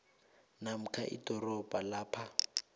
namkha idorobha lapho